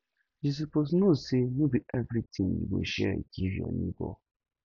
you suppose know sey no be everytin you go share give your nebor